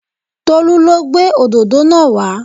Tolú lo gbé òdòdó náà wa